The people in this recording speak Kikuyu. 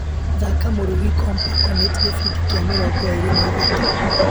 Thaka mũrugi kompaconate gĩbindi kĩa mĩrongo ĩrĩ na ithatũ.